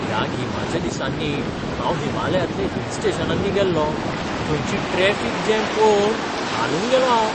ह्या गिमाच्या दिसांनी हांव हिमालयांतल्या हिल स्टेशनांनी गेल्लो, थंयची ट्रॅफिक जॅम पळोवन हालून गेलों हांव!